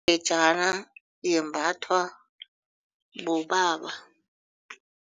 Ingejana yembathwa bobaba.